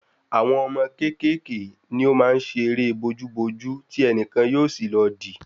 Àwọn ọmọ kékèké ni o maá n ṣe eré bojú bojú ti ẹnìkan yóò sì lọ di